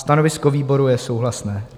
Stanovisko výboru je souhlasné.